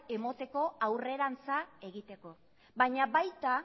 emoteko aurrerantza egiteko baina baita